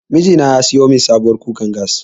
Miji na ya siyo min sabuwar kukar gas.